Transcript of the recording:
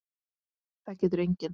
Það getur enginn!